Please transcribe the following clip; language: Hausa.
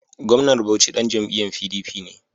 Gwamnan Bauchi ɗan jam'iyyar PDP ne.